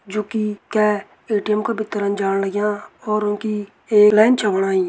जु की कै ए.टी.एम का भीतरन जाण लग्यां और उंकी एक लाइन छ बणाई।